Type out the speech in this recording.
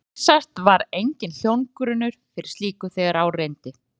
Vísast var enginn hljómgrunnur fyrir slíku, þegar á reyndi.